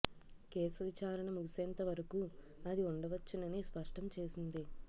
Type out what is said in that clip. case విచారణ ముగిసేంతవరకూ అది ఉండ వచ్చునని స్పష్టం చేసింది